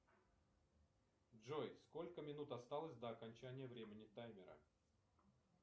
джой сколько минут осталось до окончания времени таймера